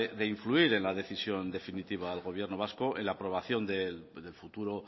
de influir en la decisión definitiva al gobierno vasco en la aprobación del futuro